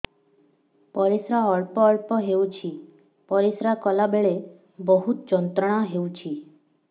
ପରିଶ୍ରା ଅଳ୍ପ ଅଳ୍ପ ହେଉଛି ପରିଶ୍ରା କଲା ବେଳେ ବହୁତ ଯନ୍ତ୍ରଣା ହେଉଛି